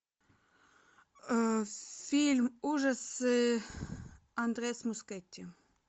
фильм ужасы андрес мускетти